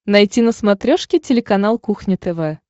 найти на смотрешке телеканал кухня тв